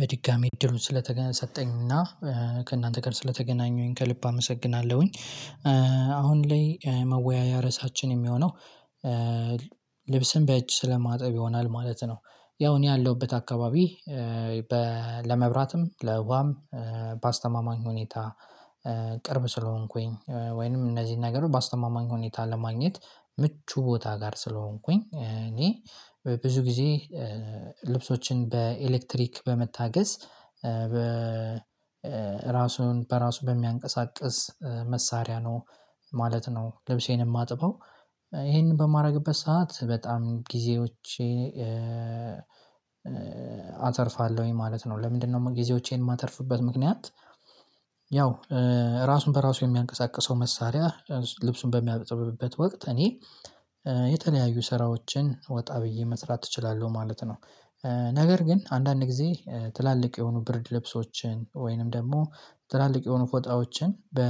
በድጋሚ እድሉን ስለተገና ሰጠኝና ከእናንተ ጋር ስለተገናኘሁኝ ከልብ አመሰግናለሁኝ። አሁን ላይ መወያያ ርዕሳችን የሚሆነው ልብስን በእጅ ስለማጠብ ይሆናል ማለት ነው። ያው እኔ ያለሁበት አካባቢ። ለመብራትም ለውሃም በአስተማማኝ ሁኔታ። ቅርብ ስለሆንኩኝ ወይንም እነዚህን ነገር ባስተማማኝ ሁኔታ ለማግኘት ምቹ ቦታ ጋር ስለሆንኩኝ። እኔ ብዙ ጊዜ ልብሶችን በኤሌክትሪክ በመታገዝ በ ራሱን በራሱ በሚያንቀሳቅስ መሳሪያ ነው ማለት ነው ልብሴን የማጥበው። ይሄንን በማደርግበት ሰዓት በጣም ጊዜዎቼ አተርፋለሁኝ ማለት ነው። ለምንድነው ጊዜዎቼን የማተርፍበት ምክንያት? ያው ራሱን በራሱ የሚያንቀሳቅሰው መሳሪያ ልብሱን በሚያጥብበት ወቅት እኔ የተለያዩ ስራዎችን ወጣ ብዬ መስራት እችላለሁ ማለት ነው። ነገር ግን አንዳንድ ጊዜ ትላልቅ የሆኑ ብርድ ልብሶችን ወይንም ደግሞ ትላልቅ የሆኑ ፎጣዎችን በ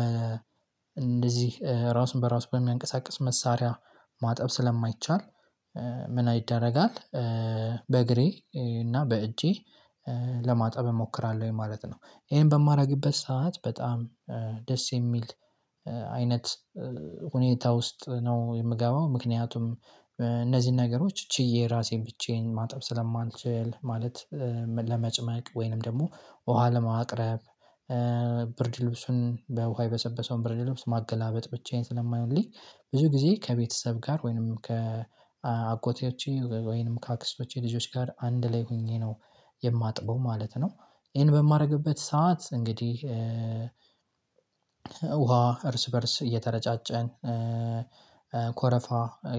እንደዚህ ራሱን በራሱ በሚያንቀሳቅስ መሳሪያ ማጠብ ስለማይቻል ምን አይደረጋል? በእግሬ እና በእጄ ለማጣብ እሞክራለሁኝ ማለት ነው። ይሄን በማደርግበት ሰዓት በጣም ደስ የሚል አይነት ሁኔታ ውስጥ ነው የምገባው። ምክንያቱም እነዚህን ነገሮች ችዬ ራሴን ብቻዬን ማጠብ ስለማልችል ማለት ለመጭመቅ ወይንም ደግሞ ውሃ ለማቅረብ። ብርድ ልብሱን በውሃ የበሰበሰውን ብርድ ልብስ ማገላበጥ ብቻዬን ስለማይሆንልኝ። ብዙ ጊዜ ከቤተሰብ ጋር ወይንም ከአጎቴዎቼ ወይንም ከአክስቶቼ ልጆች ጋር አንድ ላይ ሆኜ ነው የማጥበው ማለት ነው። ይሄን በማደርግበት ሰዓት እንግዲህ ውሃ እርስ በእርስ እየተረጫጨን ኮረፋ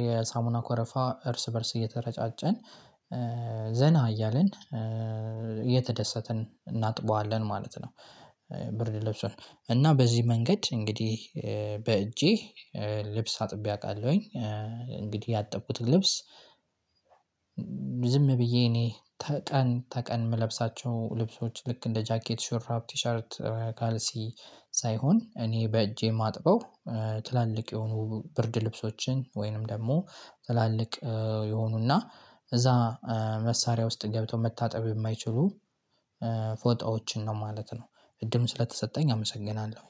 የሳሙና ኮረፋ እርስ በእርስ እየተረጫጨን ዘና እያልን እየተደሰትን እናጥበዋለን ማለት ነው። ብርድ ልብሱን እና በዚህ መንገድ እንግዲህ በእጄ ልብስ አጥቤ አውቃለሁኝ። እንግዲህ ያጠብኩትን ልብስ ዝም ብዬ እኔ ተቀን ተቀን የምለብሳቸው ልብሶች ልክ እንደ ጃኬት ሹርብ ቲሸርት ካልሲ። ሳይሆን እኔ በእጄ ማጥበው። ትላልቅ የሆኑ ብርድ ልብሶችን ወይንም ደግሞ ትላልቅ የሆኑና እዛ መሳሪያ ውስጥ ገብተው መታጠብ የማይችሉ ፎጣዎችን ነው ማለት ነው። እድም ስለተሰጠኝ አመሰግናለሁ።